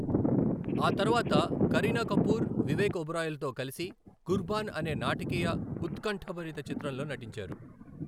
ఆ తర్వాత కరీనా కపూర్, వివేక్ ఒబెరాయ్లతో కలిసి 'కుర్బాన్' అనే నాటకీయ ఉత్కంఠభరిత చిత్రంలో నటించారు.